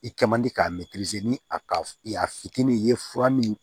I kɛ man di k'a ni a ka a fitinin ye fura min